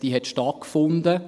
Sie hat stattgefunden.